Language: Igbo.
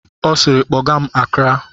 Ọ siiri, kpọgaa m Akra!